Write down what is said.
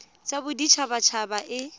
ya bodit habat haba e